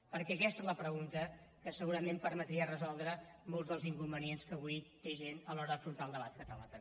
perquè aquesta és la pregunta que segurament permetria resoldre molts dels inconvenients que avui té gent a l’hora d’afrontar el debat català també